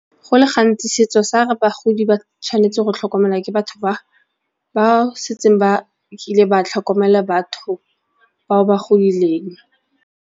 Go le gantsi setso sa re bagodi ba tshwanetse go tlhokomelwa ke batho ba ba setseng ba kile ba tlhokomela batho ba ba godileng.